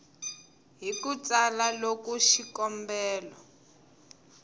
hi ku tsala loko xikombelo